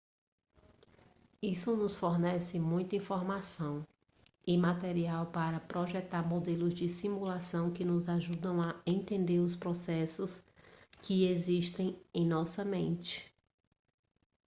isso nos fornece muita informação e material para projetar modelos de simulação que nos ajudam a entender os processos que existem em nossa mente